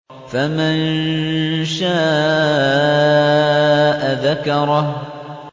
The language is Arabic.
فَمَن شَاءَ ذَكَرَهُ